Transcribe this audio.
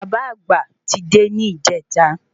Bàbá àgbà ti dé ní ìjẹta